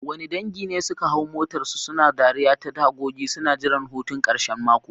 Wani dangi ne suka hau motarsu, suna dariya ta tagogi, suna jiran hutun karshen mako.